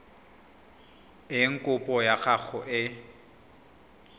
eng kopo ya gago e